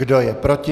Kdo je proti?